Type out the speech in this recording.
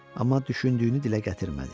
Amma düşündüyünü dilə gətirmədi.